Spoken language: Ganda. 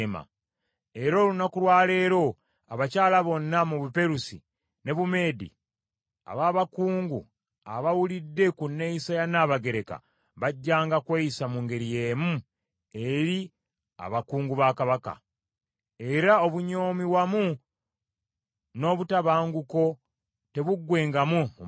Era olunaku lwa leero abakyala bonna mu Buperusi ne Bumeedi aba bakungu abawulidde ku nneeyisa ya Nnabagereka bajjanga kweyisa mu ngeri y’emu eri abakungu ba Kabaka. Era obunyoomi wamu n’obutabanguko tebuggwengawo mu maka.